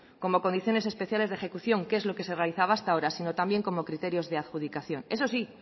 como condiciones especiales de ejecución que es lo que se realizaba hasta ahora sino también como criterios de adjudicación eso sí